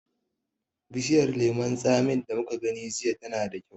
Bishiyar lemon tsamin da muka gani jiya tana da kyau.